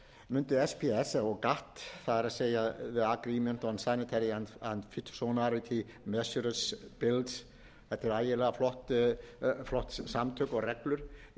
myndi sps gatt the agreement on sanitary and phytosanitary measures builds on previous gatt rules þetta eru ægilega flott samtök og reglur